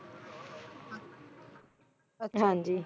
ਹਾਂ ਜੀ